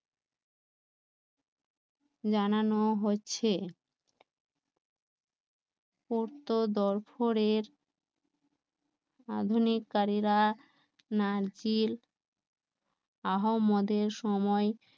জানান হচ্ছে আধুনিক কারীরা নারচিল আহ মদের সময়